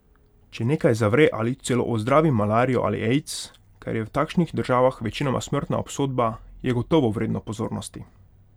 Če nekaj zavre ali celo ozdravi malarijo ali aids, kar je v takšnih državah večinoma smrtna obsodba, je gotovo vredno pozornosti.